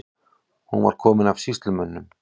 Hún var komin af sýslumönnum.